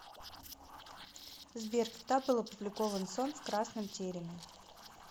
сбер когда был опубликован сон в красном тереме